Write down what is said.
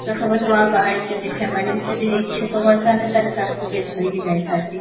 ତ ସବୁ ନୂଆ ବାହା ହେଇଛନ୍ତି ସେମାନେ ବି ଯଦି ଇଛୁକ କରିଥାନ୍ତେ, ତାହା ହେଲେ ତାଙ୍କୁ ବି ଧରିକି ଯାଇଥାନ୍ତି